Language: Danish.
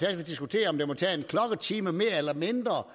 at vi diskuterer om det må tage en klokketime mere eller mindre